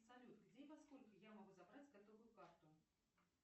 салют где и во сколько я могу забрать готовую карту